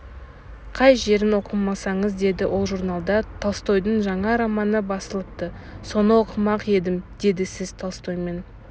қай жерін оқымақсыз деді ол журналда толстойдың жаңа романы басылыпты соны оқымақ едім деді сіз толстоймен